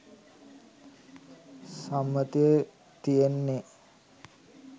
සම්මතය තියෙන්නේ.